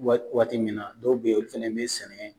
Waati min na dɔw bɛ yen olu fɛnɛ bɛ sɛnɛ